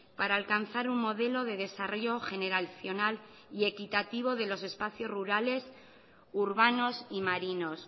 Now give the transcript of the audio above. para alcanzar un modelo de desarrollo generacional y equitativo de los espacios rurales urbanos y marinos